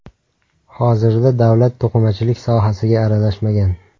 Hozirda davlat to‘qimachilik sohasiga aralashmagan.